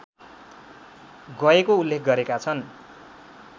गएको उल्लेख गरेका छन्